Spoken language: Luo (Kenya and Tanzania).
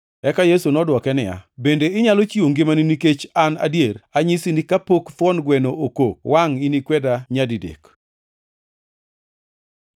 Eka Yesu nodwoke niya, “Bende inyalo chiwo ngimani nikech an adier? Anyisi ni kapok thuon gweno okok, wangʼ inikweda nyadidek!